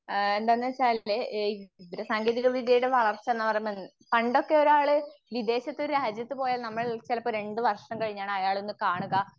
ആഹ് എന്താന്ന് വെച്ചാല് എ വിവരസാങ്കേതികവിദ്യയുടെ വളർച്ച എന്ന് പറയുമ്പോൾ പണ്ടൊക്കെ ഒരാൾ വിദേശത്ത് രാജ്യത്ത്പോയാൽ ചിലപ്പോൾ രണ്ടു വർഷം കഴിഞ്ഞ് അയാളൊന്ന് കാണുക.